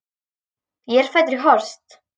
Ég er fæddur í Horst.